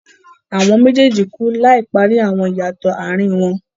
Àwọn méjèèjì klú láì parí àwọn ìyàtọ̀ àárín wọn.